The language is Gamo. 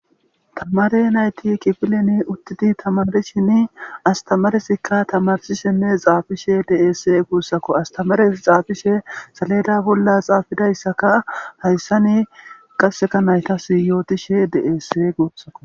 Tamare nayti kifilen utidi tamarishini astamarezika tamarsishenne xaafishe de'ees guusako. Astamarezi xaafishe saleda bolla xaafidaysaka haysani qasseka naytasi yootishe de'eesi guusuko.